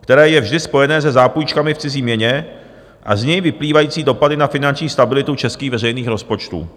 které je vždy spojeno se zápůjčkami v cizí měně, a z něj vyplývající dopady na finanční stabilitu českých veřejných rozpočtů.